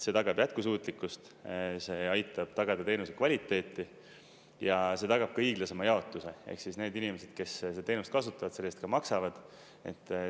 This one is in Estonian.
See tagab jätkusuutlikkust, see aitab tagada teenuse kvaliteeti ja see tagab ka õiglasema jaotuse, ehk siis, need inimesed, kes seda teenust kasutavad, selle eest ka maksavad.